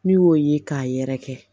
N'i y'o ye k'a yɛrɛ kɛ